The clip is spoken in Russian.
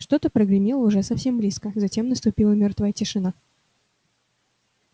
что-то прогремело уже совсем близко затем наступила мёртвая тишина